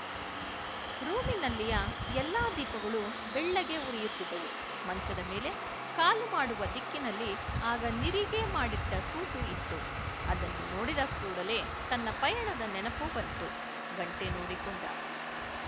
ರೂಮಿನಲ್ಲಿಯ ಎಲ್ಲ ದೀಪಗಳೂ ಬೆಳ್ಳಗೆ ಉರಿಯುತ್ತಿದ್ದವು ಮಂಚದ ಮೇಲೆ ಕಾಲು ಮಾಡುವ ದಿಕ್ಕಿನಲ್ಲಿ ಆಗ ನಿರಿಗೆ ಮಾಡಿಟ್ಟ ಸೂಟು ಇತ್ತು ಅದನ್ನು ನೋಡಿದ ಕೂಡಲೇ ತನ್ನ ಪಯಣದ ನೆನಪು ಬಂತು ಗಂಟೆ ನೋಡಿಕೊಂಡ